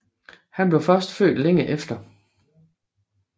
Han blev først født længe efter